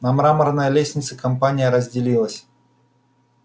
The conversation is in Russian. на мраморной лестнице компания разделилась